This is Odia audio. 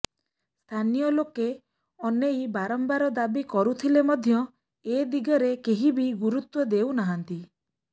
ସ୍ଥାନୀୟ ଲୋକେ ଏନେଇ ବାରମ୍ବାର ଦାବି କରୁଥିଲେ ମଧ୍ୟ ଏଦିଗରେ କେହି ବି ଗୁରୁତ୍ୱ ଦେଉ ନାହାନ୍ତି